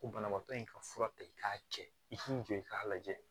Ko banabaatɔ in ka fura ta i k'a kɛ i k'u jɔ i k'a lajɛ